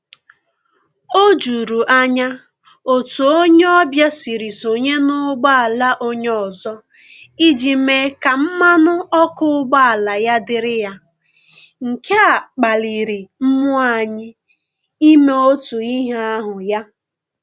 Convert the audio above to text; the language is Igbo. O juru anya otu onye ọbịa siri sonye n'ụgboala onye ọzọ iji mee ka mmanụ ọkụ ụgbọala ya dịrị ya, nke a kpaliri mmụọ anyị ime otu ihe ahụ ya